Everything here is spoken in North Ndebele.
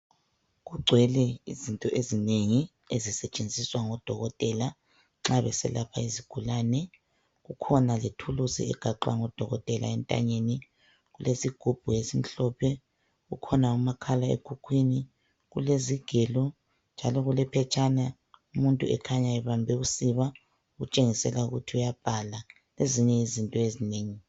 Kugcwele izinto ezinengi ezisetshenziswa ngodokotela nxa beselapha izigulani. Kukhona lethukusi egaxwa ngudokotela entanyeni, kulesigubhu esimhlophe, kukhona umakhlekhuhkwini, kulezigelo njalo iulephetshana umuntu ekhanya ebambe usiba okutshengisela ukuthi uyabhala lezinye izinto ezinengi.